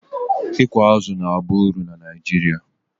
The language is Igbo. ịkụ azụ̀ na-aba uru na Naijiria